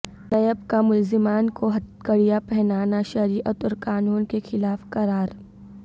NAB کا ملزمان کو ہتھکڑیاں پہنانا شریعت اور قانون کے خلاف قرار